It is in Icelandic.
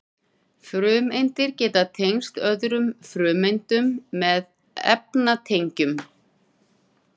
frumeindir geta tengst öðrum frumeindum með efnatengjum